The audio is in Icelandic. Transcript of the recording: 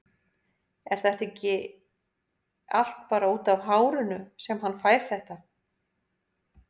En er þetta ekki allt bara útaf hárinu sem hann fær þetta?